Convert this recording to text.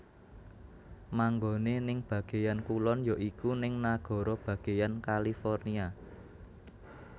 Manggone ning bageyan kulon ya iku ning nagara bageyan California